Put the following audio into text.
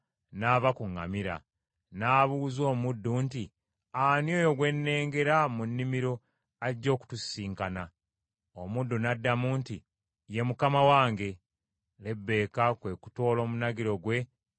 n’abuuza omuddu nti, “Ani oyo gwe nnengera mu nnimiro ajja okutusisinkana?” Omuddu n’addamu nti, “Ye mukama wange.” Lebbeeka kwe kutoola omunagiro gwe ne yeebikkirira.